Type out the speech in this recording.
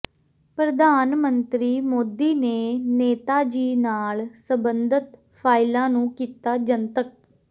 ਪ੍ਰਧਾਨ ਮੰਤਰੀ ਮੋਦੀ ਨੇ ਨੇਤਾਜੀ ਨਾਲ ਸਬੰਧਤ ਫਾਈਲਾਂ ਨੂੰ ਕੀਤਾ ਜਨਤਕ